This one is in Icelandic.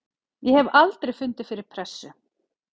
Ég hef aldrei fundið fyrir pressu.